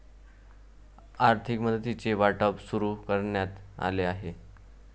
आर्थिक मदतीचे वाटप सुरू करण्यात आले आहे.